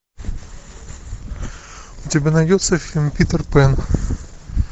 у тебя найдется фильм питер пен